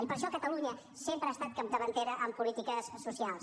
i per això catalunya sempre ha estat capdavantera en polítiques socials